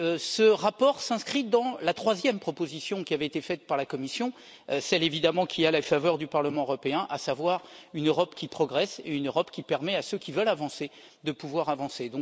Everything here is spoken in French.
Ce rapport s'inscrit dans la troisième proposition de la Commission, celle évidemment qui a la faveur du Parlement européen, à savoir une Europe qui progresse et une Europe qui permet à ceux qui veulent avancer de pouvoir avancer.